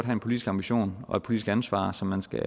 en politisk ambition og et politisk ansvar som man skal